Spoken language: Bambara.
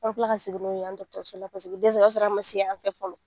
An bɛ tila tila ka segin n'u ye yan dɔgɔtɔréso la u dɛsɛra o y'a sɔrɔ ma se yan fɛ fɔlɔ